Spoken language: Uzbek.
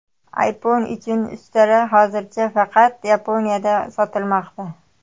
iPhone uchun ustara hozircha faqat Yaponiyada sotilmoqda.